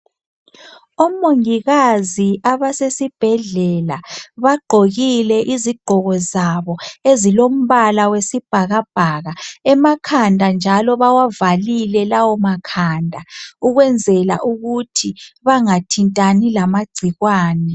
Omongikazi abasesibhedlela bagqokile izingqoko zabo ezilombala wesibhakabhaka emakhanda njalo bawavalile lawo makhanda ukwenza ukuthi bengangenwa ngamangcikwane